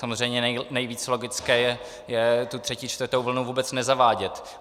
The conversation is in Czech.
Samozřejmě nejvíc logické je tu třetí, čtvrtou vlnu vůbec nezavádět.